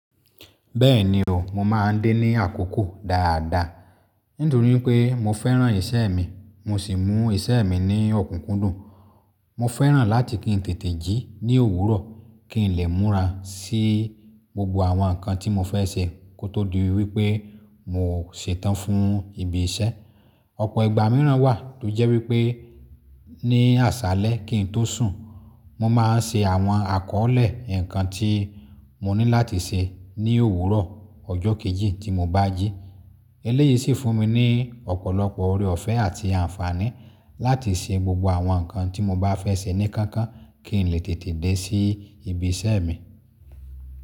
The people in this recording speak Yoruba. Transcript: Bẹ́ẹ̀ni o, mo máa ń dé ní àkókò dáadáa, nítorí pé mo fẹ́ràn iṣẹ́ mi, mo sì mú iṣẹ́ mi ní ọ̀kúnkúndùn. Mo fẹ́ràn láti kí n tètè jí ní òwúrọ̀ kí n lè múra sí gbogbo àwọn nǹkan tí mo fẹ́ ṣe kó tó di wípé mò ṣetán fún ibi iṣẹ́. Ọ̀pọ̀ ìgbà mìíràn wà tó jẹ́ wípé ní àṣálẹ́ kín tó sùn, mo máa ń ṣe àwọn àkọ́ọ́lẹ̀ nǹkan tí mo ní láti ṣe ní òwúrọ̀ ọjọ́ kejì tí mo bá jí. Eléyìí sì fún mi ní ọ̀pọ̀lọpọ̀ oore ọ̀fẹ́ àti àǹfààní láti ṣe gbogbo àwọn nǹkan tí mo bá fẹ́ ṣe ní kánkán kí n lè tètè dé sí ibi iṣẹ́ mi.